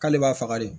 K'ale b'a faga de